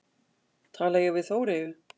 Tala ég við Þóreyju?